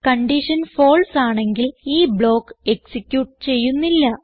condition false ആണെങ്കിൽ ഈ block execute ചെയ്യുന്നില്ല